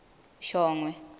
shongwe